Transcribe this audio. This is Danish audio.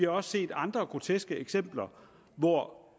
også set andre groteske eksempler hvor